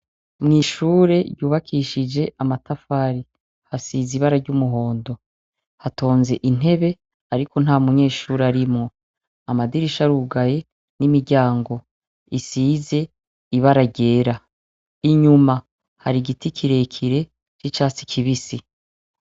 Mwishure yubakishije amatafari hasize ibara ry'umuhondo hatonze intebe, ariko nta munyeshuri arimwo amadirisha arugaye n'imiryango isize ibara ryera inyuma hari igiti kirekire c'icatsi kibisi.